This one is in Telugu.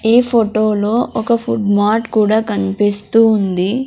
ఈ ఫోటోలో ఒక ఫుడ్ మార్ట్ కూడా కనిపిస్తూ ఉంది.